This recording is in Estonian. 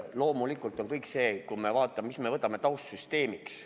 Loomulikult on kõik need asjad seotud sellega, mille me võtame taustsüsteemiks.